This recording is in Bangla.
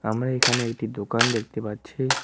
আমরা এখানে একটি দোকান দেখতে পাচ্ছি।